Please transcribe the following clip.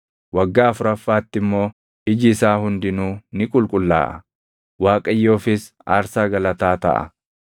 Waggaa afuraffaatti immoo iji isaa hundinuu ni qulqullaaʼa; Waaqayyoofis aarsaa galataa taʼa.